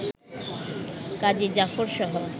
কাজী জাফরসহ